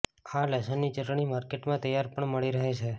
આ લસણની ચટણી માર્કેટમાં તૈયાર પણ મળી રહે છે